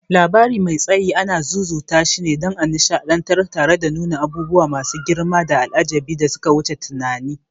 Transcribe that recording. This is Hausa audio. Labari mai tsayi anan zuzutashine, dan a nishadantar tare da nuna abubuwa masu girmanda al'ajabi da suka wuce tunani.